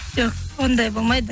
жоқ ондай болмайды